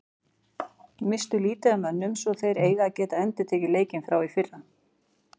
Misstu lítið af mönnum svo þeir eiga að geta endurtekið leikinn frá í fyrra.